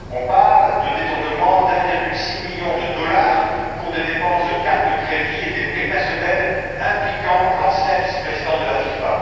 On parle d'un détournement de 1,6 million de dollars pour des dépenses de carte de crédit et des prêts personnels impliquant l'ancien vice président de la FIFA.